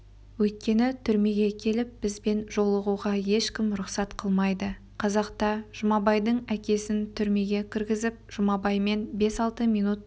өйткені түрмеге келіп бізбен жолығуға ешкімге рұқсат қылмайды қазақта жұмабайдың әкесін түрмеге кіргізіп жұмабаймен бес-алты минут